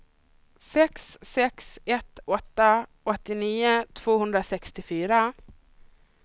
sex sex ett åtta åttionio tvåhundrasextiofyra